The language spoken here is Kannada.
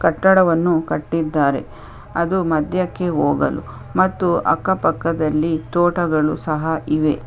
ಕಟ್ಟಡ ವನ್ನು ಕಟ್ಟಿದ್ದಾರೆ ಅದು ಮಧ್ಯಕ್ಕೆ ಹೋಗಲು ಮತ್ತು ಅಕ್ಕ ಪಕ್ಕದಲ್ಲಿ ತೋಟಗಳು ಸಹ ಇವೆ .